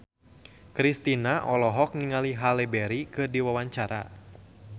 Kristina olohok ningali Halle Berry keur diwawancara